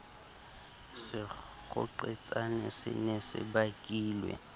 sekgoqetsane se ne se bakilwe